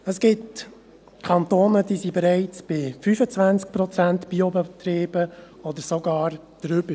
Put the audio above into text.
Es gibt Kantone, die bereits bei 25 Prozent Biobetrieben sind, oder sogar noch höher.